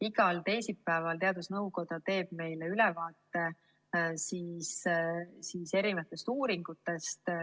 Igal teisipäeval teeb teadusnõukoda meile ülevaate erinevatest uuringutest.